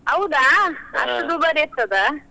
ಹೌದಾ! ಅಷ್ಟು ದುಬಾರಿ ಆಗ್ತದಾ?